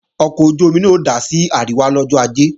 Ọkọ̀ ojú-omi náà ó dà sí àríwá lọ́jọ́ Ajé